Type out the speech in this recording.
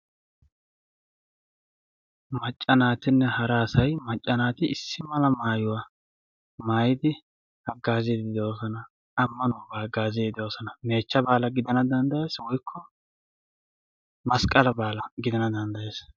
Maca naati hara asay maca naati issi mala maayuwa maayiddi hagaazosonna ikka qassi meechcha baala woykko masqqala baala gidana danddayees.